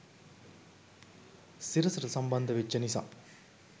සිරසට සම්බන්ධ වෙච්ච නිසා